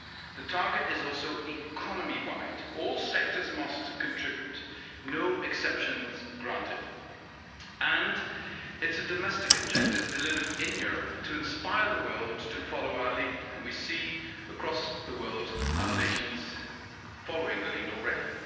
The target is also economy-wide all sectors must contribute, no exceptions granted, and it's a domestic objective delivered in Europe to inspire the world to follow our lead, and we see across the world other nations following the lead already.